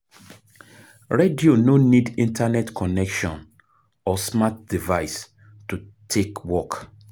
Radio no need internet connection or smart device to take work